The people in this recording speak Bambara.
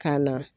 Ka na